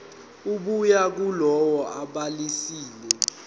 ebuya kulowo obhalisile